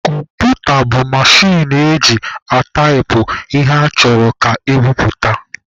Kọmputa bụ mechin eji ataipụ ihe achọrọ ka ebupute.